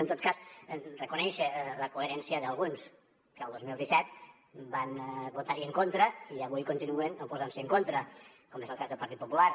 en tot cas reconèixer la coherència d’alguns que el dos mil disset van votar hi en contra i avui continuen oposant s’hi en contra com és el cas del partit popular